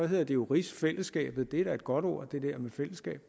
hedder det jo rigsfællesskabet det er da godt ord det der med fællesskab